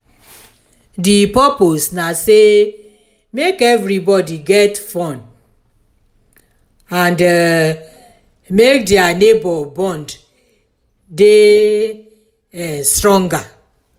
di purpose na say make everbody get fun and um make their neighbor bond de um stronger